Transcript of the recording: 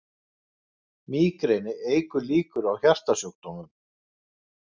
Mígreni eykur líkur á hjartasjúkdómum